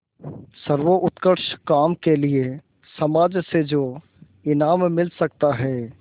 सर्वोत्कृष्ट काम के लिए समाज से जो इनाम मिल सकता है